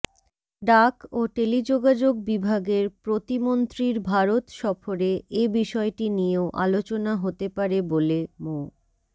ডাক ও টেলিযোগাযোগ বিভাগের প্রতিমন্ত্রীর ভারত সফরে এ বিষয়টি নিয়েও আলোচনা হতে পারে বলে মো